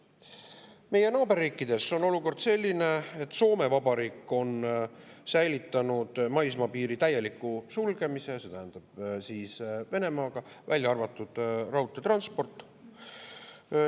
Meie naaberriikides on olukord selline, et Soome Vabariik on säilitanud Soome-Vene maismaapiiri täieliku sulgemise, välja arvatud raudteetransport.